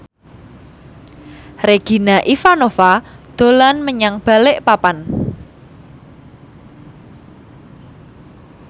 Regina Ivanova dolan menyang Balikpapan